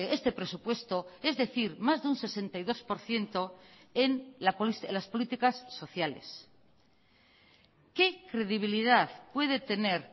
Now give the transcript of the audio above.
este presupuesto es decir más de un sesenta y dos por ciento en las políticas sociales qué credibilidad puede tener